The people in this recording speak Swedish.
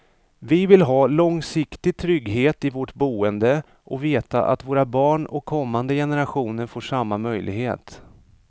Vi vill ha långsiktig trygghet i vårt boende och veta att våra barn och kommande generationer får samma möjlighet.